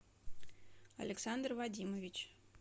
александр вадимович